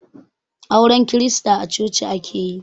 Auren krista a coci ake yi